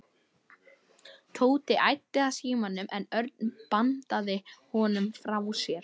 Tóti æddi að símanum en Örn bandaði honum frá sér.